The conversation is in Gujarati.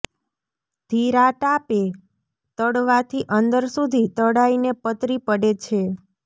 ધીરા તાપે તળવાથી અંદર સુધી તળાઈને પતરી પડે છે